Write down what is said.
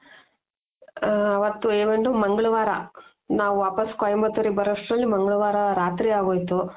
ಆ ಅವತ್ತು ಏನದು ಮಂಗಳವಾರ ನಾವು ವಾಪಸ್ ಕೊಯಿಮತ್ತುರ್ ಗೆ ಬರೋ ಅಷ್ಟರಲ್ಲಿ ಮಂಗಳವಾರ ರಾತ್ರಿ ಆಗೋಯ್ತು.